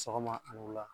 Sɔgɔma ani wula